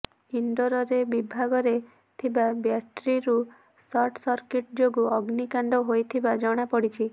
ଇଣ୍ଡୋରରେ ବିଭଗରେ ଥିବା ବ୍ୟାଟେରୀରୁ ସର୍ଟ ସର୍କିଟ ଯୋଗୁଁ ଅଗ୍ନିକାଣ୍ଡ ହୋଇଥିବା ଜଣାପଡିଛି